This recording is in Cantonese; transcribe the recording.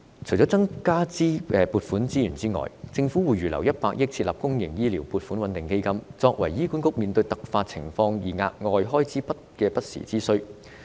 除了增加撥款外，政府會預留100億元設立公營醫療撥款穩定基金，以備醫管局面對突發情況需要額外開支的不時之需。